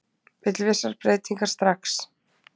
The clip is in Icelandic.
Vill vissar breytingar strax